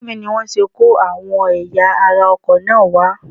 Ojú mi ni wọ́n ṣe kó àwọn ẹ̀yà ara ọkọ̀ náà wá